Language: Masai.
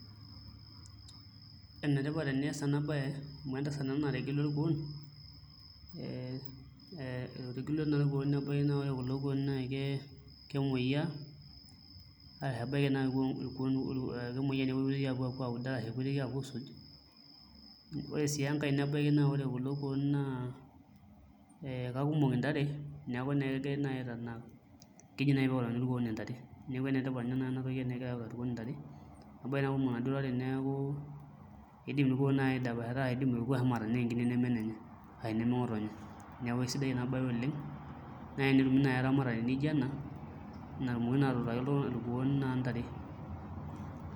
Enetipat eniaas ena siai amu entasat ena nategelua irkuoon ee nategelua naa irkuoon nebaiki naa ore kulo kuoon kemuoyiaa ebaiki naa kepoitoi aapuo aaud ashu kepoitoi aapuo aisuj ore sii enkae nebaiki naa ore kulo kuoon naa ee kakumok intare neeku naai kegirai aitanak keji naai pee eutakini irkuoon intare neeku enetipat inye naai ena toki tenegirai autaki irkuoon intare embaiki naa kumok inaduo tare neeku iindim irkuoon naai aidapashata ashu iindim orkuo naai ashomo atanaa enkine neme enenye ashu neme ng'otonye neeku sidai ina baye oleng' tenetumi naai eramatare nijio ena netumokini naa atuutaki irkuoon intare.